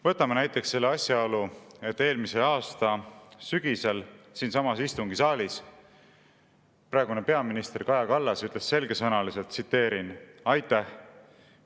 Võtame näiteks selle asjaolu, et eelmise aasta sügisel siinsamas istungisaalis praegune peaminister Kaja Kallas ütles selgesõnaliselt nii, tsiteerin: "Aitäh!